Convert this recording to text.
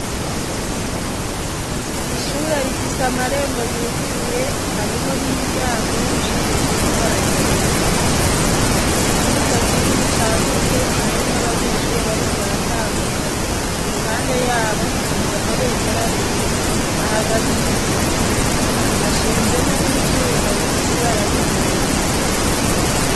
Ishure rifise amarembo yuguruye hariho n'imiryango y'ivyumiisizi baragera rifise ikibuga kinini cagutse harimwo abanyeshure bariko baratambuka i ruhande yabo hashinze amabendera abiri hahagaze imiduga hashinzemwo nie ivyuma bifise ibarary' ubururu.